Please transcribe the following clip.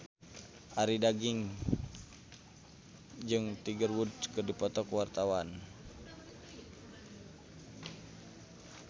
Arie Daginks jeung Tiger Wood keur dipoto ku wartawan